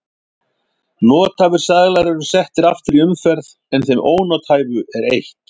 Nothæfir seðlar eru settir aftur í umferð en þeim ónothæfu er eytt.